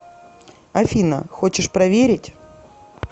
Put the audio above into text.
афина хочешь проверить